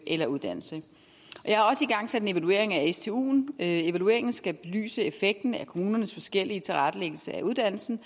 eller uddannelse jeg har også igangsat en evaluering af stuen evalueringen skal belyse effekten af kommunernes forskellige tilrettelægge uddannelsen